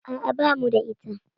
A'a, bamu da ita